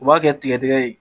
U b'a kɛ tigɛdgɛ ye